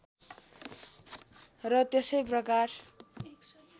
र त्यसै प्रकार